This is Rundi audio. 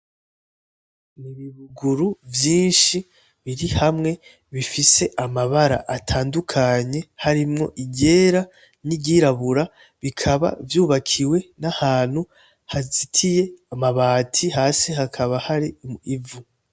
N’ibibuguru vyishi biri hamwe bifise amabara atandukanye harimwo iryera n’iryirabura bikaba vyubakiwe n’ahantu hazitiye hasi hakaba hari ivu.